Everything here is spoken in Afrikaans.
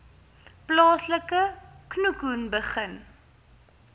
plaaslike khoekhoen begin